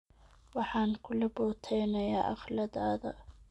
Waxan kulaboteyna akhlatadha.